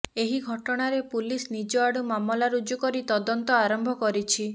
ଏହି ଘଟଣାରେ ପୁଲିସ ନିଜଆଡୁ ମାମଲା ରୁଜୁ କରି ତଦନ୍ତ ଆରମ୍ଭ କରିଛି